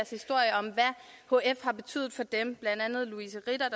historie om hvad hf har betydet for dem blandt andet louise ritter